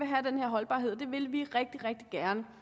have den her holdbarhed og det vil vi rigtig rigtig gerne